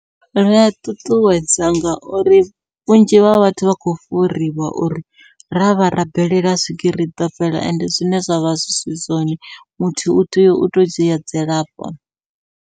Ri a ṱuṱuwedza ngauri vhunzhi ha vhathu vha khou fhuriwa uri ravha rabelela swigiri iḓo fhela ende zwine zwavha zwi si zwone muthu u tea uto dzhia dzilafho.